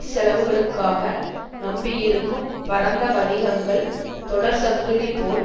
செலவுகளுக்காக நம்பியிருக்கும் பரந்த வணிகங்கள் தொடர் சங்கிலி போல்